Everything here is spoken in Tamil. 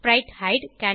ஸ்பிரைட்ஹைடு